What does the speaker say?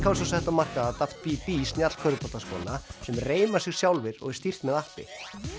hafa svo sett á markað b b sem reima sig sjálfir og er stýrt með appi